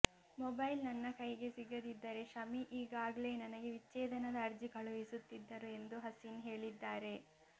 mobile ನನ್ನ ಕೈಗೆ ಸಿಗದಿದ್ದರೆ ಶಮಿ ಈಗಾಗ್ಲೇ ನನಗೆ ವಿಚ್ಛೇದನದ ಅರ್ಜಿ ಕಳುಹಿಸುತ್ತಿದ್ದರು ಎಂದು ಹಸೀನ್ ಹೇಳಿದ್ದಾರೆ